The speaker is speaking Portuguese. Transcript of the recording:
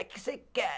Que é que você quer?